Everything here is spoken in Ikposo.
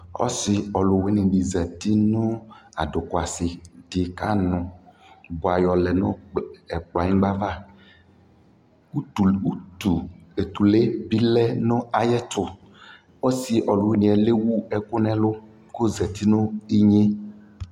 Abidʒokpa oya ɛɛna ɔwlɔwulu oyaa ɛɛla nu salomo kayɔɔ gbɔdu napisie kadɛ amɔvɛ dunu kpɔsɔɔ ɔku dili ɔɔku wɛ